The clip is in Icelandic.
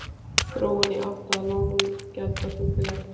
Þróun í átt að lággjaldaflugfélagi?